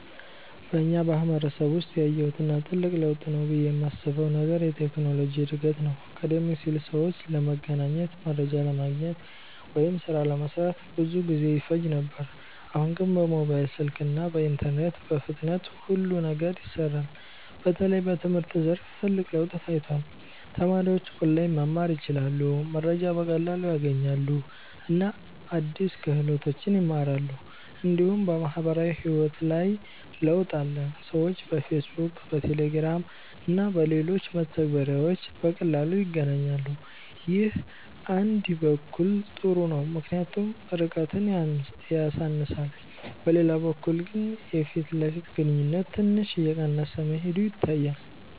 በእኛ ማህበረሰብ ውስጥ ያየሁት እና ትልቅ ለውጥ ነው ብዬ የማስበው ነገር የቴክኖሎጂ እድገት ነው። ቀደም ሲል ሰዎች ለመገናኘት፣ መረጃ ለማግኘት ወይም ሥራ ለመስራት ብዙ ጊዜ ይፈጅ ነበር። አሁን ግን በሞባይል ስልክ እና በኢንተርኔት በፍጥነት ሁሉ ነገር ይሰራል። በተለይ በትምህርት ዘርፍ ትልቅ ለውጥ ታይቷል። ተማሪዎች ኦንላይን መማር ይችላሉ፣ መረጃ በቀላሉ ያገኛሉ እና አዲስ ክህሎቶችን ይማራሉ። እንዲሁም በማህበራዊ ህይወት ላይ ለውጥ አለ። ሰዎች በፌስቡክ፣ በቴሌግራም እና በሌሎች መተግበሪያዎች በቀላሉ ይገናኛሉ። ይህ አንድ በኩል ጥሩ ነው ምክንያቱም ርቀትን ያሳንሳል፤ በሌላ በኩል ግን የፊት ለፊት ግንኙነት ትንሽ እየቀነሰ መሄዱ ይታያል።